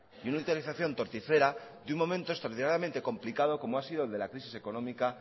y una utilización torticera de un momento extraordinariamente complicado como ha sido el de la crisis económica